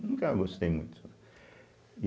Nunca gostei muito.